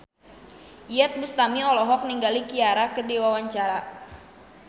Iyeth Bustami olohok ningali Ciara keur diwawancara